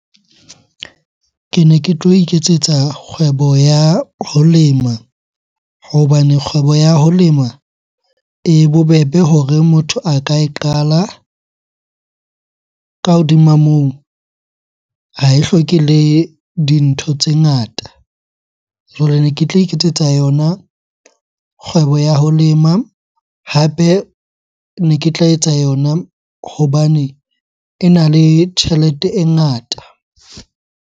Kene ke tlo iketsetsa kgwebo ya ho lema hobane kgwebo ya ho lema e bobebe hore motho a ka e qala. Ka hodima moo, ha e hloke le dintho tse ngata. Jwale ne ke tla iketsetsa yona kgwebo ya ho lema, hape ne ke tla etsa yona hobane ena le tjhelete e ngata.